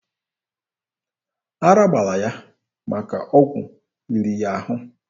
Ara gbara ya maka ọgwụ riri ya ahụ.